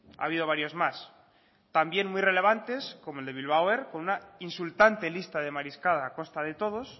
ha habido varios más también muy relevantes como el de bilbao air con una insultante lista de mariscada a costa de todos